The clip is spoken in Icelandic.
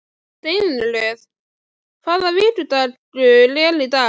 Steinröður, hvaða vikudagur er í dag?